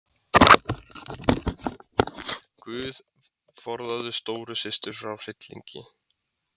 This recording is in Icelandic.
GUÐ forðaðu stóru systur frá hryllingi.